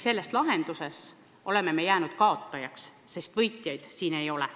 Selle lahendusega me oleme jäänud kaotajaks, sest võitjaid siin ei ole.